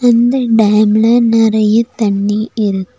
இந்த டேம்ல நெறைய தண்ணி இருக்-